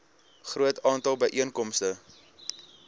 groot aantal byeenkomste